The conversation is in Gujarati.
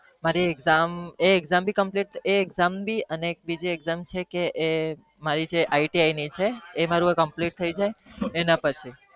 મારી એક exam બી ને એક બીજી exam iti છે એ મારી complete થઇ એના પછી